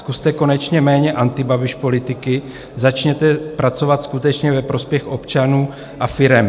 Zkuste konečně méně Antibabiš-politiky, začněte pracovat skutečně ve prospěch občanů a firem.